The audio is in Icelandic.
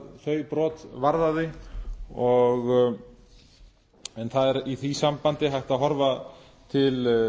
þau brot varðaði en það er í því sambandi hægt að horfa til